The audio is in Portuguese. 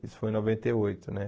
Isso foi em noventa e oito, né?